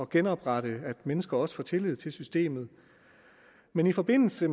genoprette menneskers tillid til systemet men i forbindelse